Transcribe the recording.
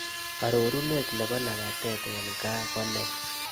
Arorunet ne po labatet eng' gaa ko nee